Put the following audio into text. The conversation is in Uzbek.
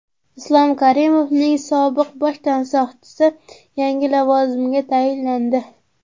Islom Karimovning sobiq bosh tansoqchisi yangi lavozimga tayinlandi.